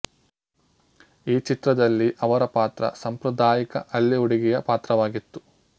ಈ ಚಿತ್ರದಲ್ಲಿ ಅವರ ಪಾತ್ರ ಸಾಂಪ್ರದಾಯಿಕ ಹಳ್ಳಿ ಹುಡುಗಿಯ ಪಾತ್ರವಾಗಿತ್ತು